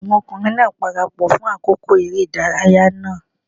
Àwọn ọmọkùnrin náà parapọ̀ fún àkókò eré ìdárayá náà.